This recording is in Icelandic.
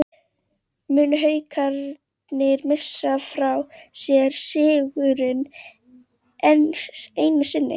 Munu Haukarnir missa frá sér sigurinn, enn einu sinni???